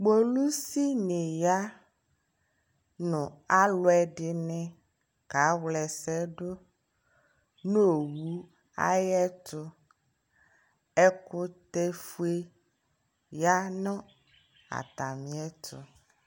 polisi ni ya nʋ alʋɛdini ka wlɛ ɛsɛdʋ nʋ ɔwʋ ayɛtʋ, ɛkʋtɛ ƒʋɛ yanʋ atamiɛ ɛtʋ